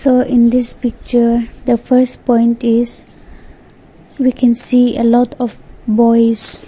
in this picture the first point is we can see a lot of boys.